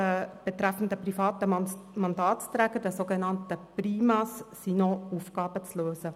Auch betreffend die PriMa sind noch Aufgaben zu lösen.